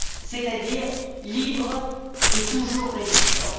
c'est à dire libre et toujours résistante.